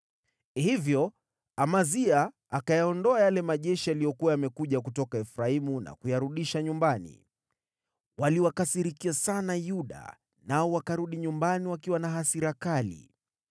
Hivyo Amazia akayaondoa yale majeshi yaliyokuwa yamekuja kutoka Efraimu na kuyarudisha nyumbani. Waliwakasirikia sana Yuda, nao wakarudi nyumbani wakiwa na hasira kali.